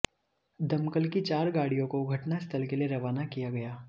दमकल की चार गाड़ियों को घटनास्थल के लिए रवाना किया गया